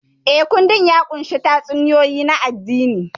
Eh, kundin ya ƙunshi tatsuniyoyi na addini.